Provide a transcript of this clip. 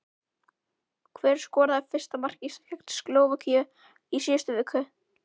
Hver skoraði fyrsta mark Íslands gegn Slóvakíu í síðustu viku?